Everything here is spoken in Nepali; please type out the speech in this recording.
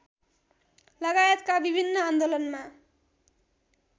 लगायतका विभिन्न आन्दोलनमा